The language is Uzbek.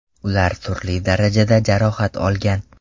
Ular turli darajada jarohat olgan.